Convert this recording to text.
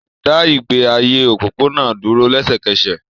Dá ìgbé ayé òpópónà dúró lẹ́sẹ̀kẹsẹ̀